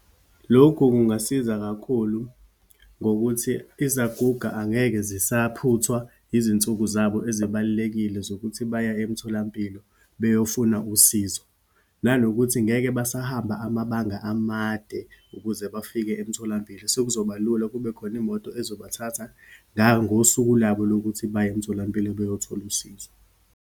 Lokhu kungasiza kakhulu ngokuthi izaguga angeke zisaphuthwa izinsuku zabo ezibalulekile zokuthi baye emtholampilo beyofuna usizo. Nanokuthi ngeke basahamba amabanga amade ukuze bafike emtholampilo. Sekuzoba lula kube khona imoto ezobathatha, ngangosuku labo lokuthi baye emitholampilo beyothola usizo.